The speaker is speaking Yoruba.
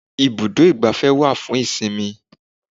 Ibùdó igbàfẹ́ wá fún ìsinmi.